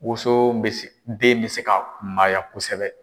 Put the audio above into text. Woson bɛ se den bɛ se ka kunmaya kosɛbɛ.